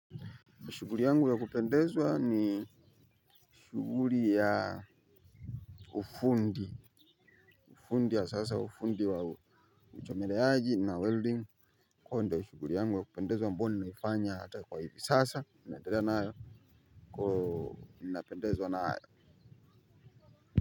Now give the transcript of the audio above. Shughuli yangu ya kupendezwa ni shughuli ya ufundi. Ufundi ya sasa, ufundi wa uchomeleaji na welding huo ndio shughuli yangu ya kupendezwa ambao nimeifanya hata kwa hivi sasa naendela nayo, ninapendezwa nayo.